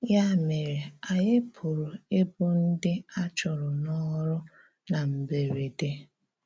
Yá mèrè, anyị pụ̀rà íbụ̀ ndí a chùrụ̀ n’òrụ̀ na mbèrèdè.